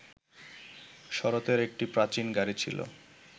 শরতের একটা প্রাচীন গাড়ি ছিল